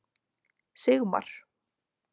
Sigmar